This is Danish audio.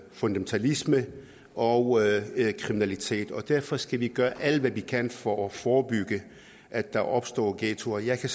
fundamentalisme og kriminalitet og derfor skal vi gøre alt hvad vi kan for at forebygge at der opstår ghettoer jeg kan